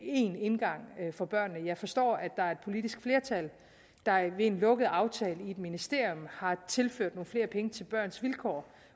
én indgang for børnene jeg forstår at der er et politisk flertal der ved en lukket aftale i et ministerium har tilført nogle flere penge til børns vilkår